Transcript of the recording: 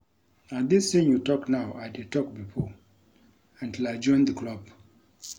Na dis thing you talk now I dey talk before until I join the club